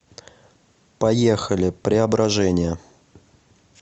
поехали преображение